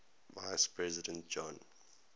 vice president john